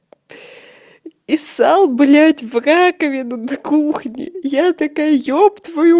и ссал блять в раковину на кухне я такая ёб твою